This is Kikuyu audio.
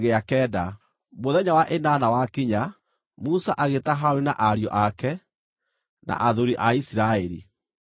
Mũthenya wa ĩnana wakinya, Musa agĩĩta Harũni na ariũ ake, na athuuri a Isiraeli.